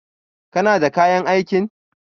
Kana da kayan aikin?